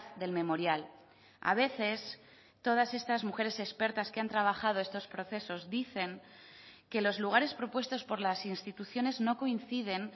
del memorial a veces todas estas mujeres expertas que han trabajado estos procesos dicen que los lugares propuestos por las instituciones no coinciden